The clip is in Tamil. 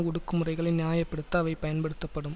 ஒடுக்குமுறைகளை நியாய படுத்த அவை பயன்படுத்தப்படும்